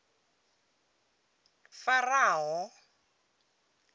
faraho